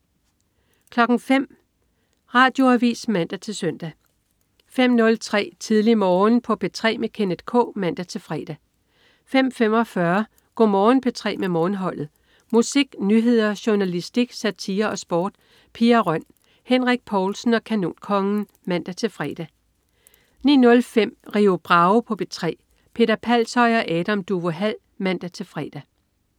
05.00 Radioavis (man-søn) 05.03 Tidlig Morgen på P3 med Kenneth K (man-fre) 05.45 Go' Morgen P3 med Morgenholdet. Musik, nyheder, journalistik, satire og sport. Pia Røn, Henrik Povlsen og Kanonkongen (man-fre) 09.05 Rio Bravo på P3. Peter Palshøj og Adam Duvå Hall (man-fre)